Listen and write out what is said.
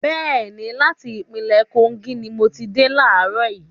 Bẹ́ẹ̀ni, láti ìpínlẹ́ Kogi ni mo ti dé laarọ̀ yìí